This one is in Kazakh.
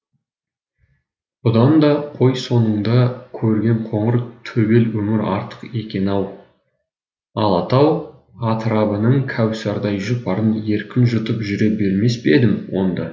бұдан да қой соңында көрген қоңыр төбел өмір артық екен ау алатау атырабының кәусардай жұпарын еркін жұтып жүре бермес пе едім онда